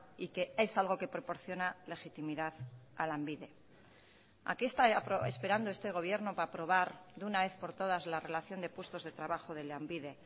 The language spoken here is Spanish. y que es algo que proporciona legitimidad a lanbide a qué está esperando este gobierno para aprobar de una vez por todas la relación de puestos de trabajo de lanbide